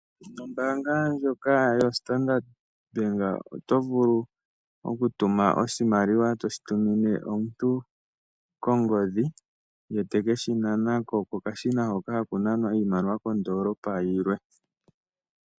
Nombanga ndjoka yoStandard Bank oto vulu okutuma oshimaliwa toshi tumine omuntu kongodhi ye tekeshi nanako kokashina hoka haku nanwa iimaliwa kondoolopa yilwe.